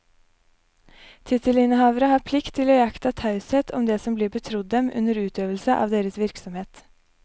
Tittelinnehavere har plikt til å iaktta taushet om det som blir betrodd dem under utøvelse av deres virksomhet.